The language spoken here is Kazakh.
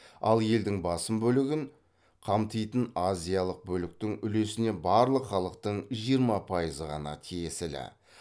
ал елдің басым бөлігін қамтитын азиялық бөліктің үлесіне барлық халықтың жиырма пайызы ғана тиесілі